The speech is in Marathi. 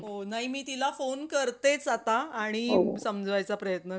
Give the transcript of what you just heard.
नाही मी तिला phone करतेच आता आणि समजावायचा प्रयत्न करते.